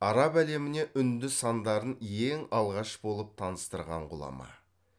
араб әлеміне үнді сандарын ең алғаш болып таныстырған ғұлама